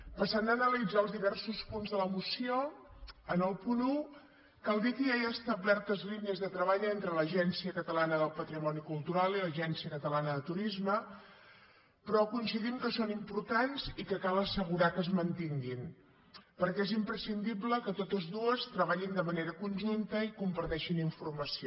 passant a analitzar els diversos punts de la moció en el punt un cal dir que ja hi ha establertes línies de treball entre l’agència catalana del patrimoni cultural i l’agència catalana de turisme però coincidim que són importants i que cal assegurar que es mantinguin perquè és imprescindible que totes dues treballin de manera conjunta i comparteixin informació